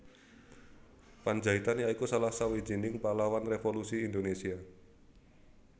Pandjaitan ya iku salah sawijining pahlawan revolusi Indonésia